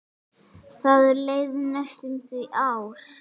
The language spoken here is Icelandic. Það leið næstum því ár.